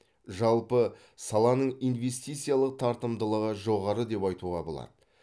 жалпы саланың инвестициялық тартымдылығы жоғары деп айтуға болады